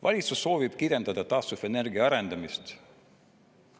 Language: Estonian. Valitsus soovib kirjeldada taastuvenergia arendamist.